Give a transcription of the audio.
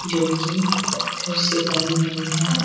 जो कि पत्थर से बनी हुई है।